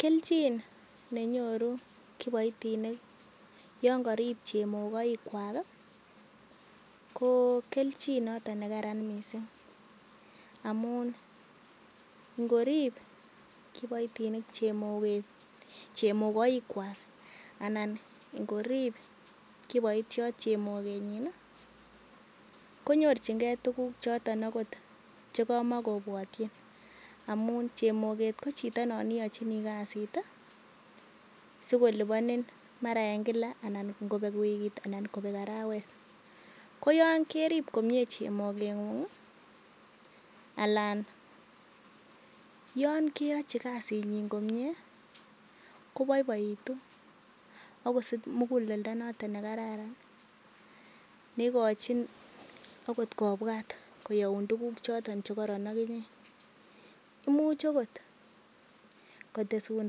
Kelchin nenyoru kiboitinik yon korin chemokoikwak ko kelchin noton ne karan mising amun ngorib kiboitinik chemokoik kwak anan ngorib kiboityot chemogenyin, koyorjinge tuguk choton agot che kamakobwotyin amun chemoget ko chito non iyochii kasit sikoliponi mara en kila anan en wikit anan ngobek arawet. Ko yon kerib komye chemogeng'ung anan yon keyochi kasinyin komye koboiboitu ak kosich muguleldo ne kararan. Ne igochin agot kobwat koyoun tuguk choto che koron ak inye. Imuch agot kotesun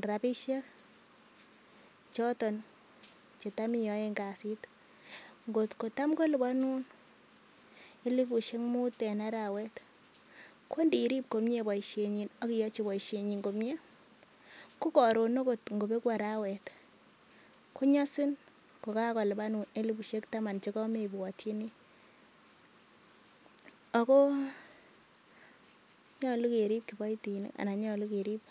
rabishek choton ch etam iyoen kasit. Ngotko tam koliponun elifusiek muut en arawet, ko ndirib komye boisienyin ak iyochi komye boisienyin ko karon agot ngo begu arawet konyosin kogakolipanin elifusiek taman che kamebwotyini. Ago nyolu kerib kiboitinik.